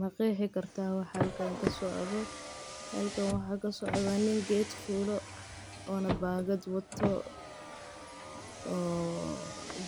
maqeexi kartaa wax halkan kasocdo? halkan waxa kasocdo, nin geed fuulo oona baangad wato oo